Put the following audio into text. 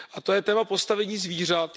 A to je téma postavení zvířat.